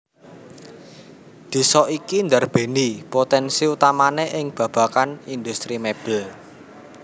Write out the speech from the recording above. Désa iki ndarbèni potènsi utamané ing babagan indhustri mèbel